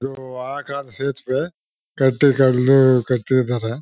ಇದು ಆ ಕಾಲದ್ದು ಸೇತುವೆ ಕಟ್ಟಿದರೆ.